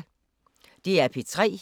DR P3